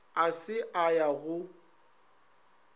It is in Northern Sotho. a se a ya go